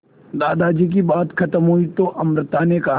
दादाजी की बात खत्म हुई तो अमृता ने कहा